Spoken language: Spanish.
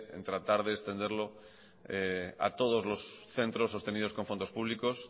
en tratar de extenderlo a todos los centros sostenidos con fondos públicos